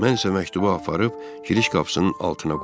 Mən isə məktubu aparıb giriş qapısının altına qoydum.